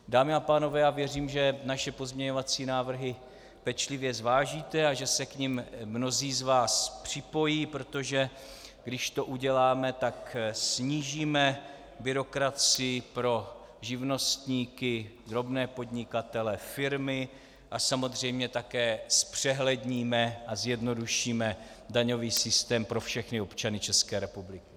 Dámy a pánové, já věřím, že naše pozměňovací návrhy pečlivě zvážíte a že se k nim mnozí z vás připojí, protože když to uděláme, tak snížíme byrokracii pro živnostníky, drobné podnikatele, firmy a samozřejmě také zpřehledníme a zjednodušíme daňový systém pro všechny občany České republiky.